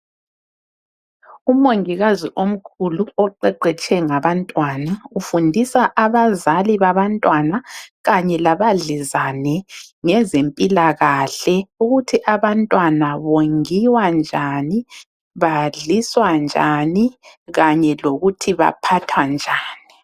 Umongikazi omkhulu oqeqetshe ngabantwana, ufundisa abazali babantwana kanye labadlezane ngezempilakahle. Ukuthi abantwana bongiwa njani , badliswa njani kanye lokuthi baphathwa njani.